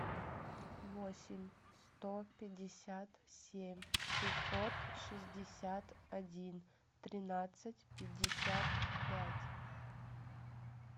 восемь сто пятьдесят семь шестьсот шестьдесят один тринадцать пятьдесят пять